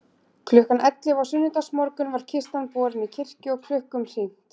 Klukkan ellefu á sunnudagsmorgun var kistan borin í kirkju og klukkum hringt.